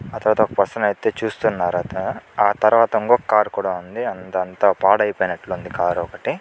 ఆ తరువాత పెర్సొన్ అయితే చూస్తున్నారు ఇంకో కార్ కూడా ఉంది అంత పాడైపోయినట్టు ఉంది కార్ అంత.